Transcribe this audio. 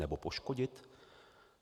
Nebo poškodit?